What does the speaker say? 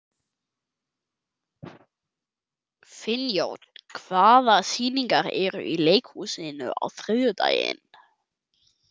Finnjón, hvaða sýningar eru í leikhúsinu á þriðjudaginn?